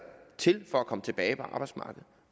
til for at komme tilbage på arbejdsmarkedet